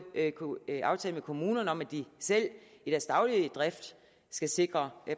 aftale med kommunerne om at de i deres daglige drift skal sikre